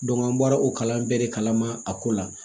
an bɔra o kalan bɛɛ de kalama a ko la